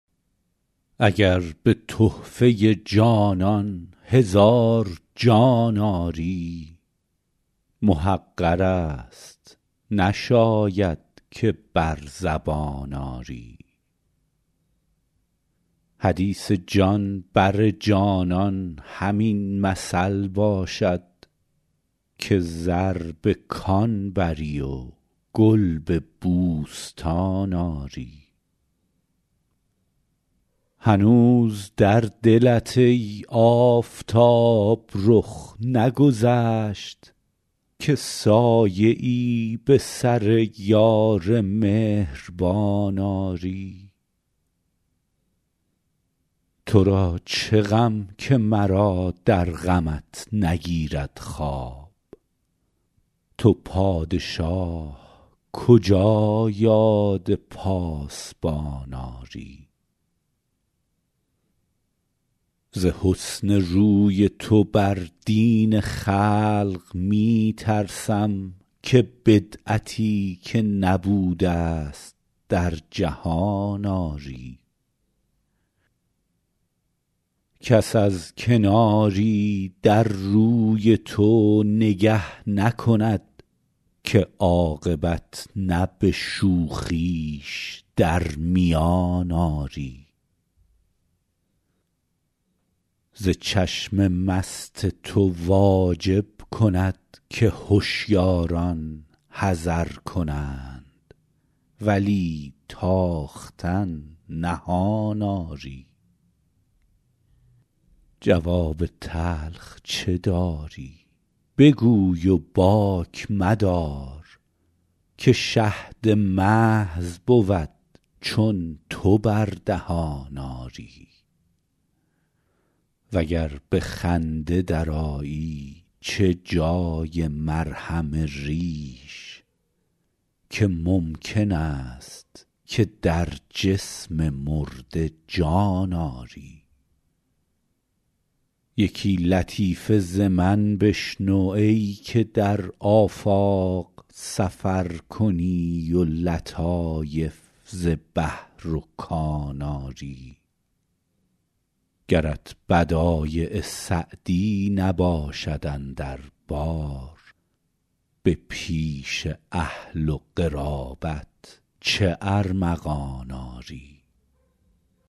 اگر به تحفه جانان هزار جان آری محقر است نشاید که بر زبان آری حدیث جان بر جانان همین مثل باشد که زر به کان بری و گل به بوستان آری هنوز در دلت ای آفتاب رخ نگذشت که سایه ای به سر یار مهربان آری تو را چه غم که مرا در غمت نگیرد خواب تو پادشاه کجا یاد پاسبان آری ز حسن روی تو بر دین خلق می ترسم که بدعتی که نبوده ست در جهان آری کس از کناری در روی تو نگه نکند که عاقبت نه به شوخیش در میان آری ز چشم مست تو واجب کند که هشیاران حذر کنند ولی تاختن نهان آری جواب تلخ چه داری بگوی و باک مدار که شهد محض بود چون تو بر دهان آری و گر به خنده درآیی چه جای مرهم ریش که ممکن است که در جسم مرده جان آری یکی لطیفه ز من بشنو ای که در آفاق سفر کنی و لطایف ز بحر و کان آری گرت بدایع سعدی نباشد اندر بار به پیش اهل و قرابت چه ارمغان آری